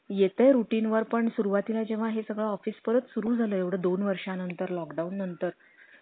येतंय routine वर पण सुरुवातीला जेव्हा हे सगळं office परत सुरु झाल्यावर दोन वर्षानंतर, lockdown नंतर